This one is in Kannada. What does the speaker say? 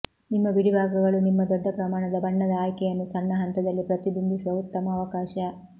ನಿಮ್ಮ ಬಿಡಿಭಾಗಗಳು ನಿಮ್ಮ ದೊಡ್ಡ ಪ್ರಮಾಣದ ಬಣ್ಣದ ಆಯ್ಕೆಯನ್ನು ಸಣ್ಣ ಹಂತದಲ್ಲಿ ಪ್ರತಿಬಿಂಬಿಸುವ ಉತ್ತಮ ಅವಕಾಶ